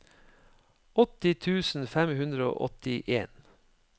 åtti tusen fem hundre og åttien